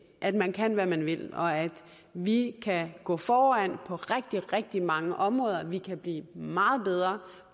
at man kan hvad man vil og at vi kan gå foran på rigtig rigtig mange områder vi kan blive meget bedre